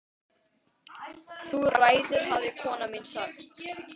Þú ræður hafði kona mín sagt.